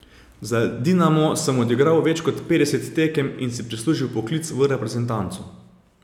Za Dinamo sem odigral več kot petdeset tekem in si prislužil vpoklic v reprezentanco.